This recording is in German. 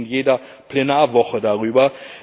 wir reden in jeder Plenarwoche darüber.